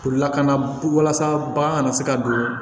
Lakana walasa bagan kana se ka don